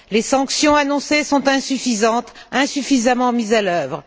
Les sanctions annoncées sont insuffisantes et insuffisamment mises en œuvre.